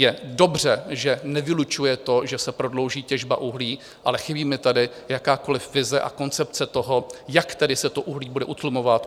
Je dobře, že nevylučuje to, že se prodlouží těžba uhlí, ale chybí mi tady jakákoliv vize a koncepce toho, jak se tedy to uhlí bude utlumovat.